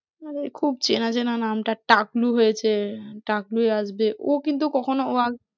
আরে খুব চেনাচেনা নামটা টাকলু হয়েছে, টাকলু হয়ে আসবে, ও কিন্তু কখনও